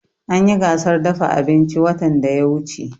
An yi gasar dafa abinci watan da ya wuce